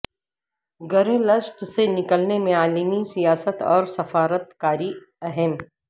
گرے list سے نکلنے میں عالمی سیاست اور سفارت کاری اہم